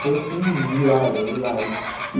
Foi assim, hilário, hilário.